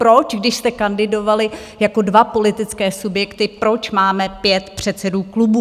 Proč, když jste kandidovali jako dva politické subjekty, proč máme 5 předsedů klubů?